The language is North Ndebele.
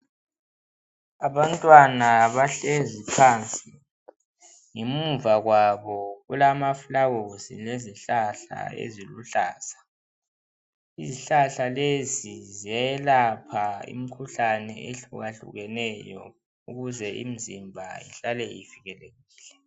Abantwana bahlezi phansi ngemuva kwabo kulamaflawuzi lezihlahla eziluhlaza izihlahla lezi ziyelapha imkhuhlane ehluka hlukeneyo ukuze imizimba ihlale ivikelekile.